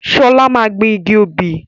Sola máa gbìn igi obì